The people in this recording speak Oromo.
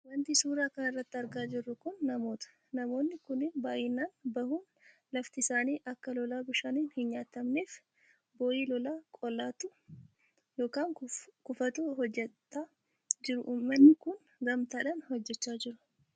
Wanti suuraa kanarratti argaa jirru kun namoota. Namoonni kunniin baayyinaan bahuun lafti isaanii akka lolaa bishaaniin hin nyaatamneef boo'ii lolaa qolatu yookaan kuufatu hojjatachaa jiru uummanni kun gamtaadhaan hojjachaa jiru.